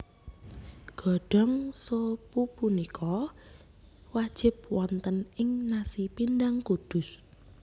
Godhong so pupunika wajib wonten ing nasi pindang Kudus